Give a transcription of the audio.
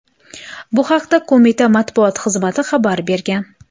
Bu haqda qo‘mita matbuot xizmati xabar bergan .